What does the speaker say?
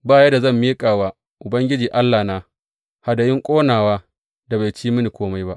Ba yadda zan miƙa wa Ubangiji Allahna hadayun ƙonawa da bai ci mini kome ba.